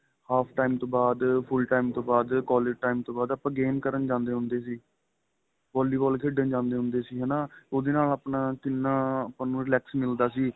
half time ਤੋ ਬਾਅਦ full time ਤੋ ਬਾਅਦ collage time ਬਾਅਦ ਆਪਾਂ game ਕਰਨ ਜਾਂਦੇ ਹੁੰਦੇ ਸੀ ਵਾਲੀਵਾਲ ਖੇਡਣ ਜਾਂਦੇ ਹੁੰਦੇ ਸੀ ਹੈਨਾ ਉਹਦੇ ਨਾਲ ਕਿੰਨਾ ਆਪਾਂ ਨੂੰ relax ਮਿਲਦਾ ਸੀ